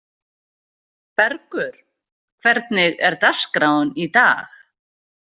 Bergur, hvernig er dagskráin í dag?